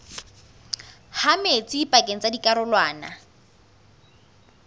ha metsi pakeng tsa dikarolwana